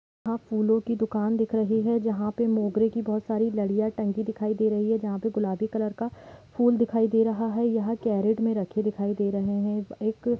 फूलो की दुकान दिख रही है जहाँ पर मोगरे कि बहुत सारी लड़ियाँ टंगी दिखाई दे रही है जहां पर गुलाबी कलर का फुल दिखाई दे रहा है यहाँ कैरेट में रखे दिखाई दे रहे है एक --